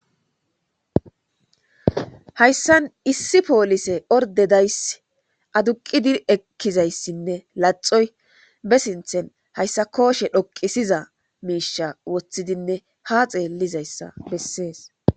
Hayssan issi poolise orde dayss aduqidi ekkizayssinne laxoy be sinthen hayssa kooshe dhoqisiza miisha wothidinne ha xeellizayssa bessees.